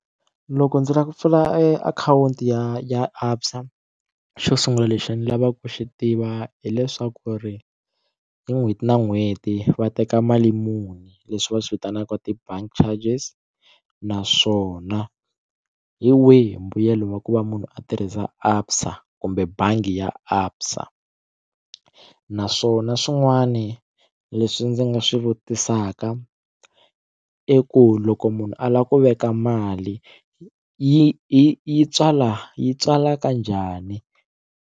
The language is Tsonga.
Loko ndzi lava ku pfula e akhawunti ya ya Absa xo sungula lexi ni lavaka ku xi tiva hileswaku ri hi n'hweti na n'hweti va teka mali muni leswi va swi vitanaka ti-bank charges naswona hi wihi mbuyelo wa ku va munhu a tirhisa Absa kumbe bangi ya Absa naswona swin'wani leswi ndzi nga swi vutisaka i ku loko munhu a lava ku veka mali yi yi yi yi tswala yi tswala ka njhani?